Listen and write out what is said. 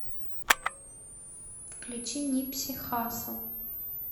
включи нипси хассл